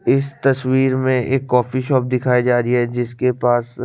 इस तस्विर में एक कॉफ़ी शॉप दिखाई जारी है जिसके पास--